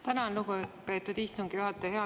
Tänan, lugupeetud istungi juhataja!